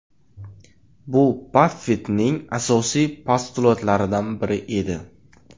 Bu Baffettning asosiy postulatlaridan biri edi.